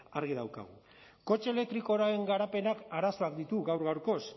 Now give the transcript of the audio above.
argi daukagu kotxe elektrikoaren garapenak arazoak ditu gaur gaurkoz